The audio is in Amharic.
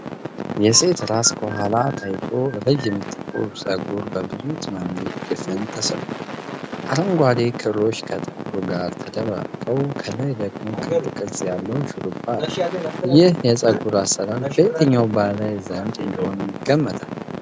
የሴት ራስ ከኋላ ታይቶ፣ ረዥም ጥቁር ፀጉር በብዙ ትናንሽ ድፍን ተሠርቷል። አረንጓዴ ክሮች ከጥቁሩ ጋር ተደባልቀው፣ ከላይ ደግሞ ክብ ቅርጽ ያለው ሹሩባ አለ። ይህ የፀጉር አሠራር በየትኛው ባህል ዘንድ ተወዳጅ እንደሆነ ይገምታሉ?